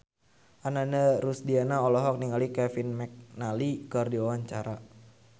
Ananda Rusdiana olohok ningali Kevin McNally keur diwawancara